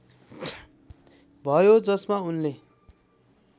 भयो जसमा उनले